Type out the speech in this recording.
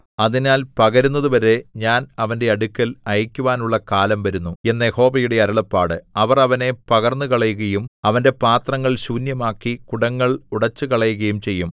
അതിനാൽ പകരുന്നതുവരെ ഞാൻ അവന്റെ അടുക്കൽ അയയ്ക്കുവാനുള്ള കാലം വരുന്നു എന്ന് യഹോവയുടെ അരുളപ്പാട് അവർ അവനെ പകർന്നുകളയുകയും അവന്റെ പാത്രങ്ങൾ ശൂന്യമാക്കി കുടങ്ങൾ ഉടച്ചുകളയുകയും ചെയ്യും